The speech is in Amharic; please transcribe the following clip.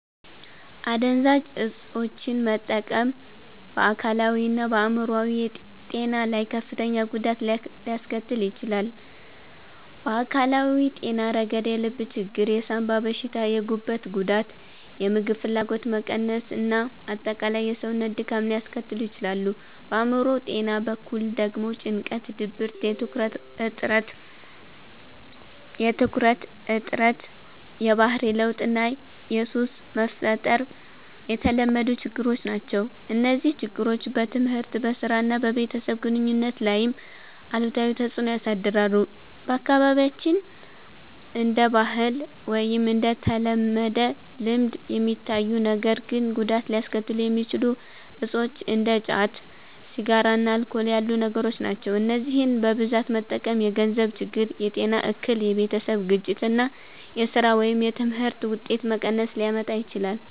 **"አደንዛዥ እፆችን መጠቀም በአካላዊና በአእምሮአዊ ጤና ላይ ከፍተኛ ጉዳት ሊያስከትል ይችላል። በአካላዊ ጤና ረገድ የልብ ችግር፣ የሳንባ በሽታ፣ የጉበት ጉዳት፣ የምግብ ፍላጎት መቀነስ እና አጠቃላይ የሰውነት ድካም ሊያስከትሉ ይችላሉ። በአእምሮ ጤና በኩል ደግሞ ጭንቀት፣ ድብርት፣ የትኩረት እጥረት፣ የባህሪ ለውጥ እና ሱስ መፍጠር የተለመዱ ችግሮች ናቸው። እነዚህ ችግሮች በትምህርት፣ በሥራ እና በቤተሰብ ግንኙነት ላይም አሉታዊ ተጽዕኖ ያሳድራሉ። በአካባቢያችን እንደ ባህል ወይም እንደ ተለመደ ልምድ የሚታዩ ነገር ግን ጉዳት ሊያስከትሉ የሚችሉ እፆች እንደ ጫት፣ ሲጋራ እና አልኮል ያሉ ነገሮች ናቸው። እነዚህን በብዛት መጠቀም የገንዘብ ችግር፣ የጤና እክል፣ የቤተሰብ ግጭት እና የሥራ ወይም የትምህርት ውጤት መቀነስ ሊያመጣ ይችላል።